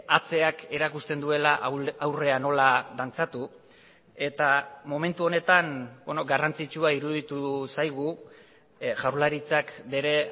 atzeak erakusten duela aurrea nola dantzatu eta momentu honetan garrantzitsua iruditu zaigu jaurlaritzak bere